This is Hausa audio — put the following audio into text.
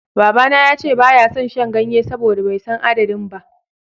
Babana ya ce ba ya son shan ganye saboda bai san adadin ba.